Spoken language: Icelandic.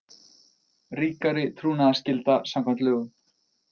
Ríkari trúnaðarskylda samkvæmt lögum